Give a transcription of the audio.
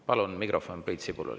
Palun mikrofon Priit Sibulale.